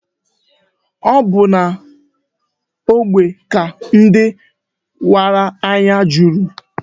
Ọ bu n'ógbè ka ndị wara anya juru.